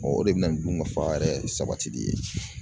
O de bɛ na ni dunkafa yɛrɛ sabatili ye.